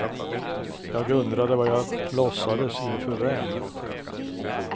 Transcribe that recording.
Jag undrade vad jag låtsades inför vem.